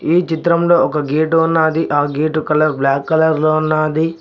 ఈ చిత్రంలో ఒక గేటు ఉన్నాది ఆ గేటు కలర్ బ్లాక్ కలర్ లో ఉన్నాది.